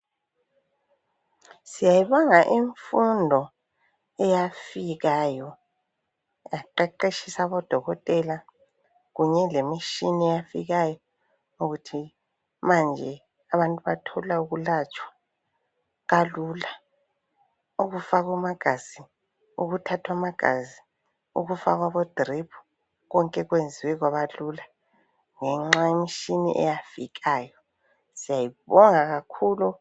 Siyayibonga imfundo eyafikayo yaqeqetshisa abodokotela kunye lemitshini eyafikayo ukuthi manje abantu bathola ukulatshwa kalula. Ukufakwa amagazi, ukuthathwa amagazi, ukufakwa abo drip konke kwenziwe kwaba lula ngenxa yemtshini eyafikayo. Siyayibonga kakhulu.